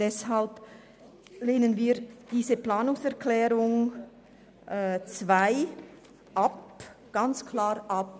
Deshalb lehnen wir die Planungserklärung 2 klar ab.